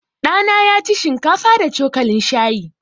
Ɗa na ya ci shinkafa da cokalin shayi.